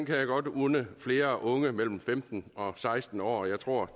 jeg godt unde flere unge mellem femten og seksten år jeg tror